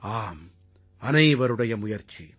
ஆம் அனைவருடைய முயற்சி